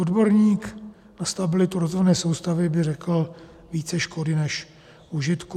Odborník na stabilitu rozvodné soustavy by řekl: více škody než užitku.